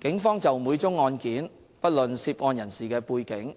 警方就每宗案件，不論涉案人士的背景，